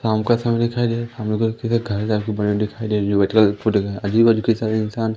शाम का समय दिखाई दे रहा है हमलोग को इधर घर जैसा बना दिखाई दे रही है व व्हाइट कलर आजू-बाजू कई सारे इंसान --